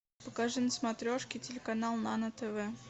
покажи на смотрешке телеканал нано тв